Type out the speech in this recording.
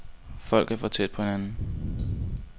Folk er for tæt på hinanden.